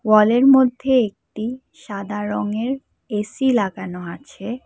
ওয়ালের মধ্যে একটি সাদা রঙের এ_সি লাগানো আছে।